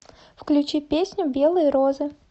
включи песню белые розы